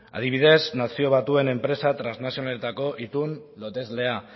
adibidez nazio batuen enpresa trasnazionaletako itun loteslea